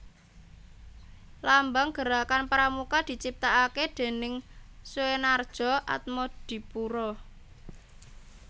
Lambang Gerakan Pramuka diciptakake déning Soenardjo Atmodipuro